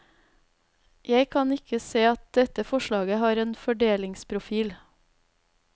Jeg kan ikke se at dette forslaget har en fordelingsprofil.